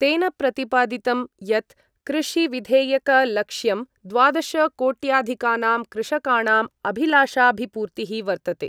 तेन प्रतिपादितं यत् कृषिविधेयकलक्ष्यं द्वादशकोट्याधिकानां कृषकाणां अभिलाषाभिपूर्तिः वर्तते।